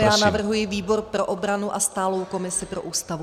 Ano, já navrhuji výbor pro obranu a stálou komisi pro Ústavu.